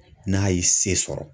N'a ye se sɔrɔ.